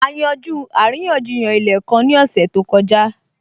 A yanjú àríyànjiyàn ilẹ̀ kan ní ọ̀sẹ̀ tó kọjá